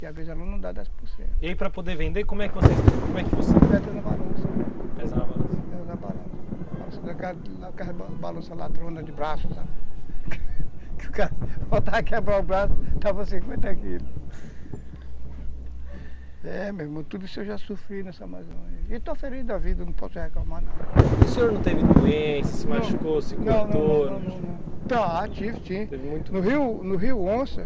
e para poder vender